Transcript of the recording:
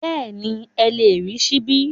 Bẹ́ẹ̀ni, ẹ lè rí ṣíbí